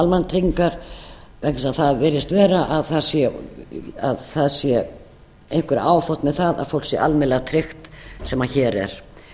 almannatryggingar vegna þess að það virðist vera að það sé einhverju áfátt með það að fólk sé almennilega tryggt sem hér er